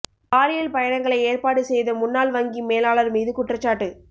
பாலியல் பயணங்களை ஏற்பாடு செய்த முன்னாள் வங்கி மேலாளர் மீது குற்றச்சாட்டு